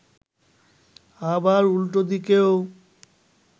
আবার উল্টো দিকেও